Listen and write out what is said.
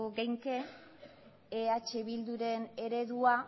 genezake eh bilduren eredua